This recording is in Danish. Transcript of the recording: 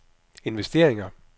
investeringer